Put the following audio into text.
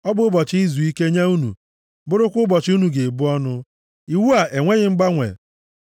Ọ bụ ụbọchị izuike nye unu, bụrụkwa ụbọchị unu ga-ebu ọnụ. Iwu a enweghị mgbanwe!